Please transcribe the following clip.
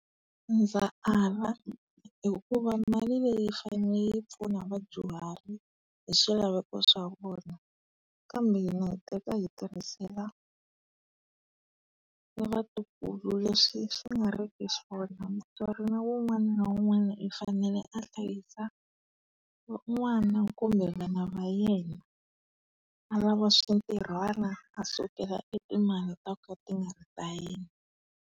Ndza ala hikuva mali leyi yi fane yi pfuna vadyuhari hi swilaveko swa vona. Kambe hina hi teka hi tirhisela e vatukulu leswi swi nga ri ki swona. Mutswari na wun'wana na wun'wana i fanele a hlayisa n'wana kumbe vana va yena, a lava swintirhwana, a sukela e timali ta ka ti nga ri ta yena.